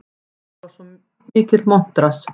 Hann var svo mikill montrass.